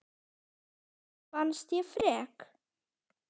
Þér fannst ég frek.